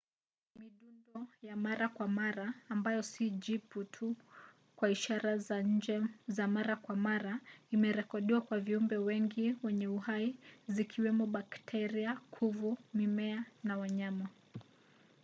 midundo ya mara kwa mara ambayo si jibu tu kwa ishara za nje za mara kwa mara imerekodiwa kwa viumbe wengi wenye uhai zikiwemo bakteria kuvu mimea na wanyama,